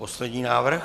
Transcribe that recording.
Poslední návrh.